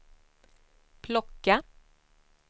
plocka